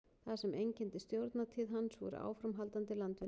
það sem einkenndi stjórnartíð hans voru áframhaldandi landvinningar